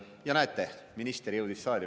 Ja näete, minister jõudis saali.